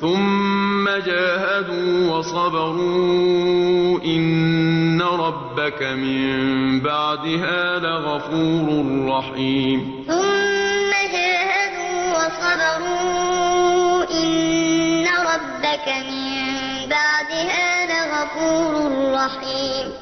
ثُمَّ جَاهَدُوا وَصَبَرُوا إِنَّ رَبَّكَ مِن بَعْدِهَا لَغَفُورٌ رَّحِيمٌ